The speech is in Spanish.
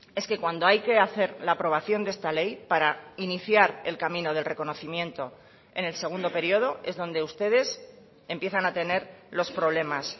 es que cuando hay que hacer la aprobación de esta ley para iniciar el camino del reconocimiento en el segundo periodo es donde ustedes empiezan a tener los problemas